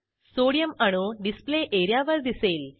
sodium अणू display एरियावर दिसेल